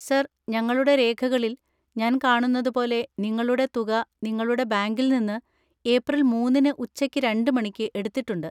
Sir, ഞങ്ങളുടെ രേഖകളിൽ ഞാൻ കാണുന്നത് പോലെ, നിങ്ങളുടെ തുക നിങ്ങളുടെ ബാങ്കിൽ നിന്ന് ഏപ്രിൽ മൂന്നിന്ന് ഉച്ചയ്ക്ക് രണ്ട് മണിക്ക് എടുത്തിട്ടുണ്ട്.